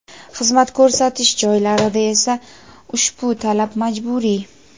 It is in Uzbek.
xizmat ko‘rsatish joylarida esa ushbu talab majburiy.